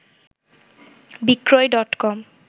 বিক্রয় ডটকম